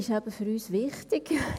Buchstabe d ist für uns wichtig.